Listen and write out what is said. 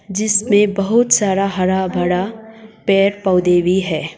जिसमें बहोत सारा हरा भरा पेड़ पौधे भी हैं।